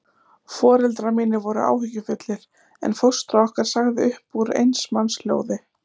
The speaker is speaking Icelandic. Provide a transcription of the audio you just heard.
Foreldrar mínir voru áhyggjufullir, en fóstra okkar sagði upp úr eins manns hljóði